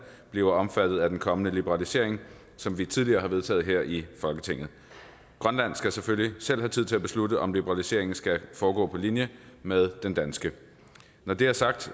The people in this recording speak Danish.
bliver omfattet af den kommende liberalisering som vi tidligere har vedtaget her i folketinget grønland skal selvfølgelig selv have tid til at beslutte om liberaliseringen skal foregå på linje med den danske når det er sagt